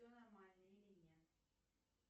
все нормально или нет